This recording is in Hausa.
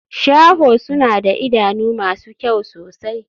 Shaho suna da idanu masu kyau sosai.